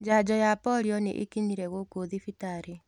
NJanjo ya polio nĩĩkinyire gũkũ thibitarĩ.